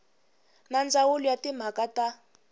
na ndzawulo ya timhaka ta